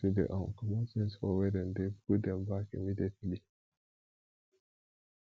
as you dey um comot things for where dem dey put dem back immediately